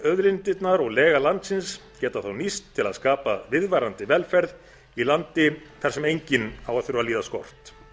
auðlindirnar og lega landsins geta þá nýst til að skapa viðvarandi velferð í landi þar sem enginn á að þurfa að líða skort